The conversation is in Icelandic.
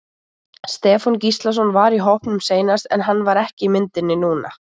Stefán Gíslason var í hópnum seinast var hann ekki í myndinni núna?